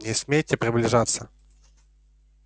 не смейте приближаться